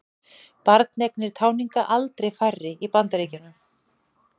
Barneignir táninga aldrei færri í Bandaríkjunum